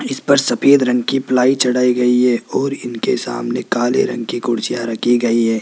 इस पर सफेद रंग की प्लाई चढ़ाई गई है और ईनके सामने काले रंग की कुर्सियां रखी गई है।